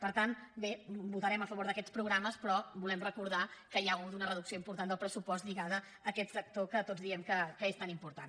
per tant bé votarem a favor d’aquests programes però volem recordar que hi ha hagut una reducció important del pressupost lligada a aquest sector que tots diem que és tan important